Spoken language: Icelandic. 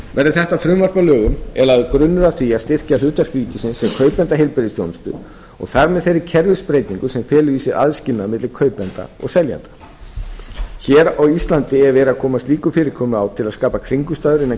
verði þetta frumvarp að lögum er lagður grunnur að því að styrkja hlutverk ríkisins sem kaupanda heilbrigðisþjónustu og þar með þeirri kerfisbreytingu sem felur í sér aðskilnað milli kaupanda og seljenda hér á íslandi er verið að koma slíku fyrirkomulagi á til að skapa kringumstæður innan